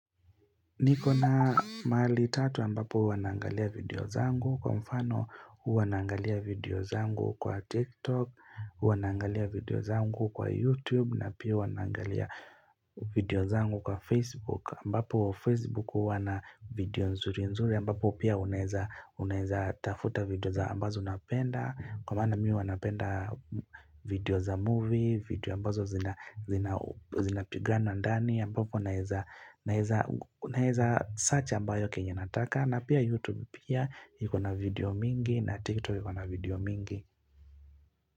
Niko na maali tatu ambapo huwa naangalia video zangu. Kwa mfano, huwa naangalia video zangu kwa TikTok, huwa naangalia video zangu kwa YouTube, na pia huwa naangalia video zangu kwa Facebook. Ambapo Facebook huwa na video nzuri nzuri ambapo pia unaeza tafuta video za ambazo unapenda Kwa maana mi huwa napenda video za movie video ambazo zina pigana ndani ambapo unaeza search ambayo kenye nataka na pia YouTube pia iko na video mingi na TikTok iko na video mingi.